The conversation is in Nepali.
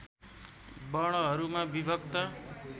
वर्णहरूमा विभक्त